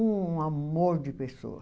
Um amor de pessoa.